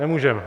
Nemůžeme.